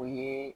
O ye